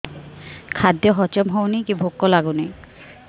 ଖାଦ୍ୟ ହଜମ ହଉନି କି ଭୋକ ଲାଗୁନି